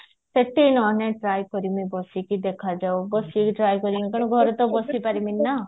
ସେଠି ନହଲେ try କରିବି ବସିକି ଦେଖାଯାଉ ବସିକି try କରିବି ମୁଁ ଖାଲି ଘରେ ତ ବସି ପାରିବିନି ନା